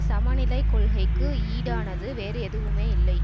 சமநிலைக் கொள்கைக்கு ஈடானது வேறு எதுவுமே இல்லை